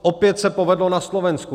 Opět se povedlo na Slovensku.